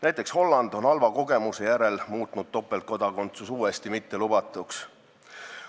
Näiteks Holland on halva kogemuse järel topeltkodakondsuse uuesti mittelubatuks muutnud.